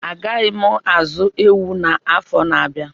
Agaghị m azụ ewu na afọ na abịa